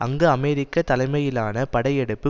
அங்கு அமெரிக்க தலைமையிலான படையெடுப்பு